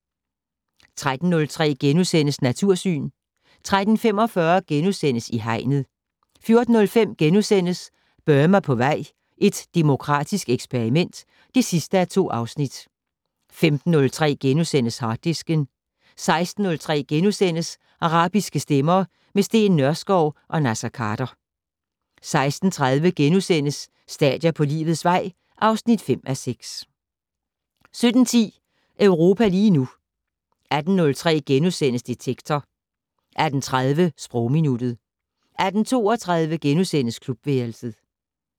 13:03: Natursyn * 13:45: I Hegnet * 14:03: Burma på vej - et demokratisk eksperiment (2:2)* 15:03: Harddisken * 16:03: Arabiske stemmer - med Steen Nørskov og Naser Khader * 16:30: Stadier på livets vej (5:6)* 17:10: Europa lige nu 18:03: Detektor * 18:30: Sprogminuttet 18:32: Klubværelset *